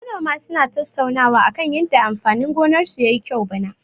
Manoma suna tattaunawa akan yanda amfanin gonarsu ya yi kyau bana.